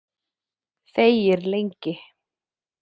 Þegir lengi.